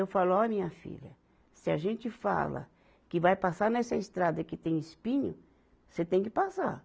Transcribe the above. Eu falo, ó minha filha, se a gente fala que vai passar nessa estrada e que tem espinho, você tem que passar.